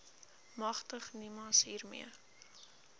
magtig nimas hiermee